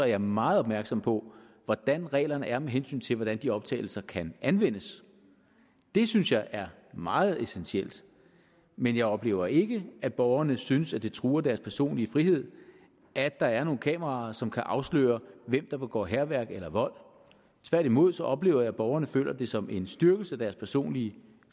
jeg meget opmærksom på hvordan reglerne er med hensyn til hvordan de optagelser kan anvendes det synes jeg er meget essentielt men jeg oplever ikke at borgerne synes at det truer deres personlige frihed at der er nogle kameraer som kan afsløre hvem der begår hærværk eller vold tværtimod oplever jeg at borgerne føler det som en styrkelse af deres personlige